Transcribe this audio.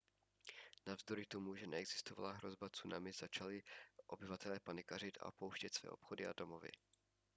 navzdory tomu že neexistovala hrozba tsunami začali obyvatelé panikařit a opouštět své obchody a domovy